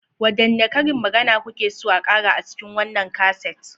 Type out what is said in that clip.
Wadanne karin magana kuke so a kara a cikin wannan kaset?